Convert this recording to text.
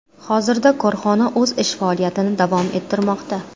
Hozirda korxona o‘z ish faoliyatini davom ettirmoqda.